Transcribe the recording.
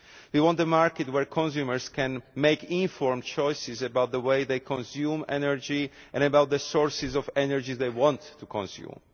We want a market where consumers can make informed choices about the way they consume energy and about the sources of energy they want to consume.